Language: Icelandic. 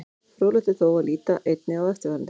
Fróðlegt er þó að líta einnig á eftirfarandi.